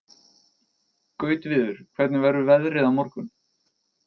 Gautviður, hvernig verður veðrið á morgun?